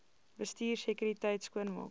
bestuur sekuriteit skoonmaak